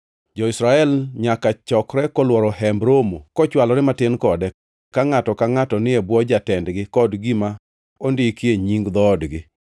“Jo-Israel nyaka chokre kolworo Hemb Romo kochwalore matin kode, ka ngʼato ka ngʼato ni e bwo jatendgi kod gima ondikie nying dhoodgi.”